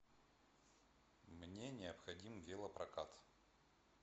мне необходим велопрокат